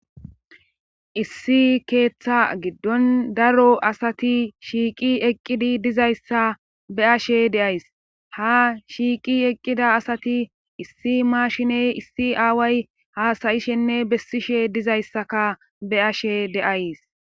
issi keeththa giddon daro asati shiiqi eqqidi dizayssa be'ashe de'ays ha shiiqi eqqida asati issi maashiney issi aaway haasayishenne bessishe dizayssaka be'ashe de'ays